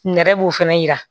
Nɛrɛ b'o fana yira